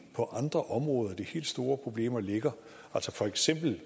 på andre områder de helt store problemer ligger for eksempel